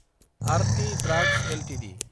Aarti drugs Ltd